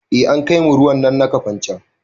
Eh an kaimu ruwan nan na kafancan